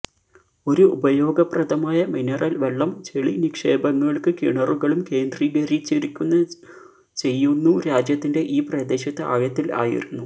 ഒരു ഉപയോഗപ്രദമായ മിനറൽ വെള്ളം ചെളി നിക്ഷേപങ്ങൾക്ക് കിണറുകളും കേന്ദ്രീകരിച്ചിരിക്കുന്ന ചെയ്യുന്നു രാജ്യത്തിന്റെ ഈ പ്രദേശത്ത് ആഴത്തിൽ ആയിരുന്നു